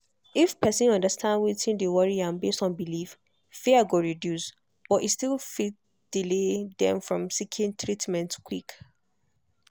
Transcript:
if person understand wetin dey worry am based on belief fear go reduce but e fit still delay dem from seeking treatment quick